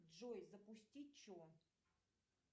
джой запусти че